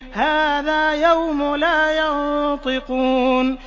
هَٰذَا يَوْمُ لَا يَنطِقُونَ